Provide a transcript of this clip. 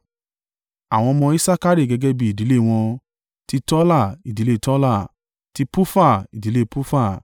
Àwọn ọmọ Isakari gẹ́gẹ́ bí ìdílé wọn: ti Tola, ìdílé Tola; ti Pufa, ìdílé Pufa;